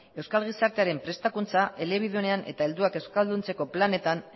euskal gizarte prestakuntza elebidunean eta helduak euskalduntzeko planetan